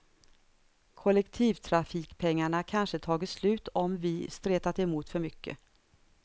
Kollektivtrafikpengarna kanske tagit slut om vi stretat emot för mycket.